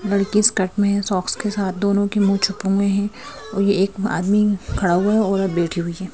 लड़की स्कर्ट में है सॉक्स के साथ दोनों के मुंह छुपे हुए हैं और ये एक आदमी खड़ा हुआ है औरत बैठी हुई है।